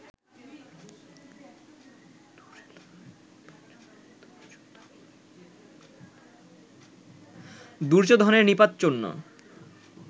দুর্যোধনের নিপাত জন্য